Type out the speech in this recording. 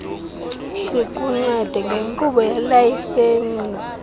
sikuncede ngenkqubo yelayisensi